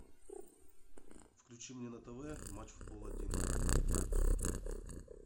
включи мне на тв матч футбол один